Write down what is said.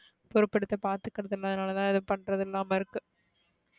போருபெடுது பாதுகுறது இல்ல அதுனால தான இது பண்றது இல்லாம இருக்கு,